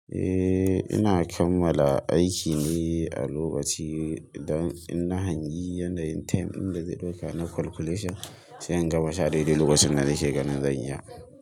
Eh, ina kammala aiki ne a lokaci da in na hangi yanayin time ɗin da zai ɗauka na calculation sai in gama shi a dai dai lokacin da nake ganin zan iya.